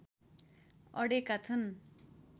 अडेका छन्